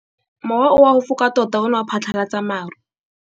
Mowa o wa go foka tota o ne wa phatlalatsa maru.